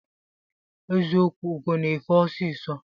Eziokwụ ugo na efe ọsisọ.